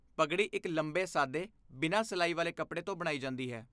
ਪਗੜੀ ਇੱਕ ਲੰਬੇ ਸਾਦੇ ਬਿਨਾਂ ਸਿਲਾਈ ਵਾਲੇ ਕੱਪੜੇ ਤੋਂ ਬਣਾਈ ਜਾਂਦੀ ਹੈ।